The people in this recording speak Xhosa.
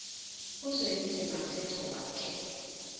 uzwelinzima asegcuwa ke